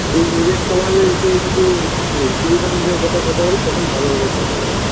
সে নিজের সমাজে কিছু না কিছু এই- কথা কথা বলে তখন ভালোভাবে কথা বলে